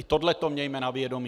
I tohle to mějme na vědomí.